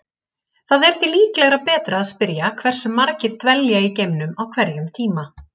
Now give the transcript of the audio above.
Það er því líklega betra að spyrja hversu margir dvelja í geimnum á hverjum tíma.